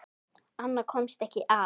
Annað komst ekki að!